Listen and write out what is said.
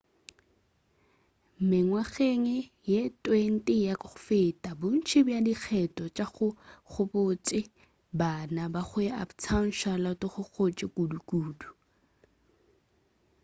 mengwageng ye 20 ya go feta bontši bja dikgetho tša go ba gabotse go bana go la uptown charlotte go gotše kudukudu